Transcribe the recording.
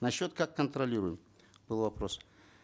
насчет как контролируем был вопрос